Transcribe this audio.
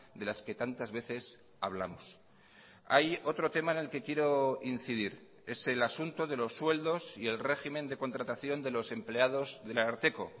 de las que tantas veces hablamos hay otro tema en el que quiero incidir es el asunto de los sueldos y el régimen de contratación de los empleados del ararteko